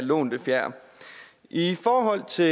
lånte fjer i forhold til